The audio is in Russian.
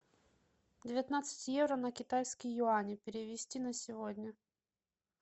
девятнадцать евро на китайские юани перевести на сегодня